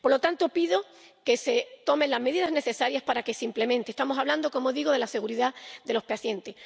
Por lo tanto, pido que se tomen las medidas necesarias para que se implemente. Estamos hablando —como digo— de la seguridad de los pacientes.